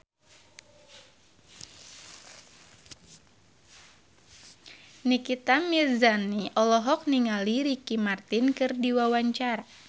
Nikita Mirzani olohok ningali Ricky Martin keur diwawancara